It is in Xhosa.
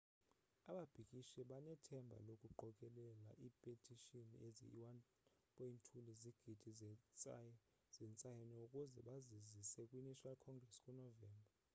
ababhikishi banethemba lokuqokelela ipetishini eziyi 1.2 lezigidi zentsayino ukuze bazizise kwi national congress ku novemba